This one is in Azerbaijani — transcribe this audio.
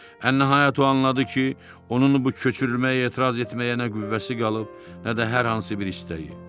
Ən nəhayət o anladı ki, onun bu köçürülməyə etiraz etməyə nə qüvvəsi qalıb, nə də hər hansı bir istəyi.